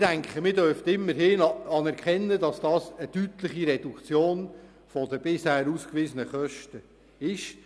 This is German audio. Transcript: Ich denke, man dürfte immerhin anerkennen, dass das eine deutliche Reduktion der bisher ausgewiesenen Kosten ist.